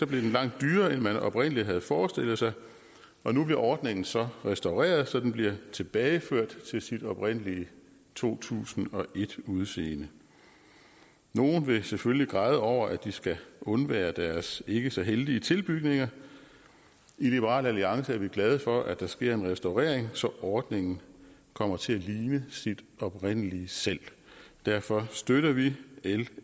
den langt dyrere end man oprindelig havde forestillet sig og nu bliver ordningen så restaureret så den bliver tilbageført til sit oprindelige to tusind og et udseende nogle vil selvfølgelig græde over at de skal undvære deres ikke så heldige tilbygninger i liberal alliance er vi glade for at der sker en restaurering så ordningen kommer til at ligne sit oprindelige selv derfor støtter vi l